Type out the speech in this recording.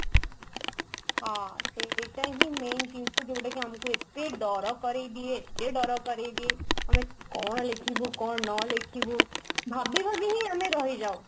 ହଁ ସେଇଟା ହିଁ main ଜିନିଷ ଯୋଉଟା କି ଆମକୁ ଏତେ ଡର କରେଇ ଦିଏ ଏତେ ଡର କରେଇ ଦିଏ ମାନେ କଣ ଲେଖିବୁ କଣ ନ ଲେଖିବୁ ଭାବି ଭାବି ହିଁ ଆମେ ରହିଯାଉ